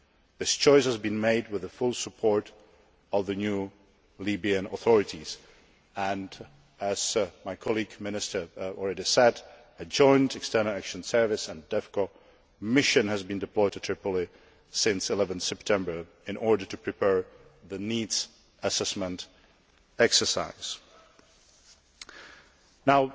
This choice was made with the full support of the new Libyan authorities and, as my colleague already said, a joint External Action Service and DEVCO mission has been deployed to Tripoli since 11 September in order to prepare the needs assessment exercise. Now,